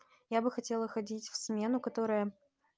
я бы хотела ходить в смену которая